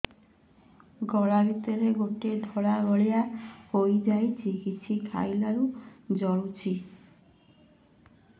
ଗଳା ଭିତରେ ଗୋଟେ ଧଳା ଭଳିଆ ହେଇ ଯାଇଛି କିଛି ଖାଇଲାରୁ ଜଳୁଛି